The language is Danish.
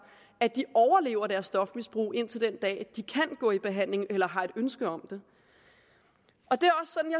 at de overlever deres stofmisbrug indtil den dag de kan gå i behandling eller har et ønske om det